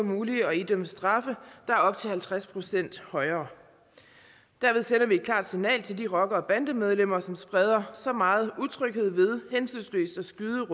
muligt at idømme straffe der er op til halvtreds procent højere dermed sender vi et klart signal til de rockere og bandemedlemmer som spreder så meget utryghed ved hensynsløst at skyde